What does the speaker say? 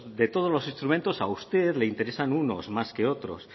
de todos los instrumentos a usted le interesan unos más que otros